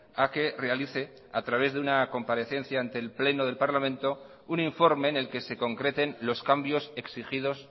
a que realice a través de una comparecencia ante el pleno del parlamento un informe en el que se concreten los cambios exigidos